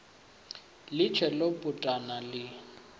ḽi tshee ḽo putana ḽi